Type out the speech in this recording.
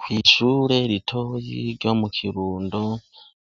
Kw'ishure ritoyi ryo mu kirundo